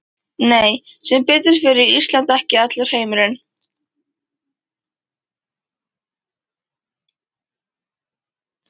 Nei, sem betur fer er Ísland ekki allur heimurinn.